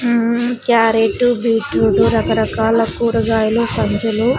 మ్మ్ carrot beetroot రకరకాల కూరగాయలు సంచులు --